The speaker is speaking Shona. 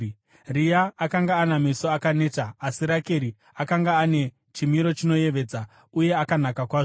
Rea akanga ana meso akaneta, asi Rakeri akanga ane chimiro chinoyevedza uye akanaka kwazvo.